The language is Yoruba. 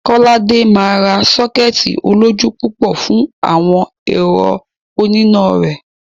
Kọ́ládé máa ra sọ́kẹ́ẹ̀tì olójú púpọ̀ fún àwọn ẹ̀rọ oníná rẹ̀.